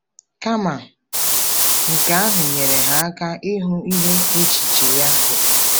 Kama nke ahụ, nyere ha aka ịhụ ihe echiche ya bụ.